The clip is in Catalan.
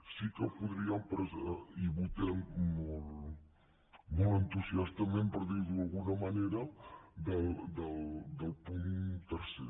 sí que podríem i hi votem molt entusiastament per dir ho d’alguna manera del punt tercer